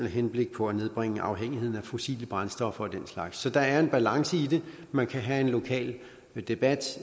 henblik på at nedbringe afhængigheden af fossile brændstoffer og den slags så der er en balance i det man kan have en lokal debat